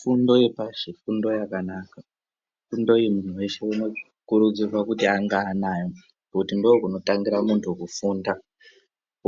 Fundo yepashi ifundo yakanaka ifundo iyi muntu weshe anokurudzirwa kuti ange anayo ngekuti ndiko kunotangira muntu kufunda